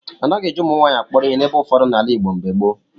A naghị eji ụmụnwaanyị akpọrọ ihe n'ebe ụfọdụ n'ala Igbo mgbe gboo.